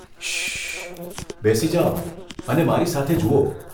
શશશ.. બેસી જાવ અને મારી સાથે જુઓ.